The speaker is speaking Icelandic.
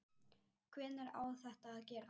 Hvenær á þetta að gerast?